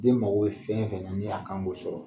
Den mago bɛ fɛn o fɛ na , ni a kan k'o sɔrɔ.